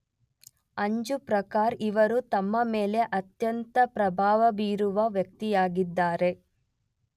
ಅಂಜು ಪ್ರಕಾರ ಇವರು ತಮ್ಮ ಮೇಲೆ ಅತ್ಯಂತ ಪ್ರಭಾವಬೀರಿದ ವ್ಯಕ್ತಿಯಾಗಿದ್ದಾರೆ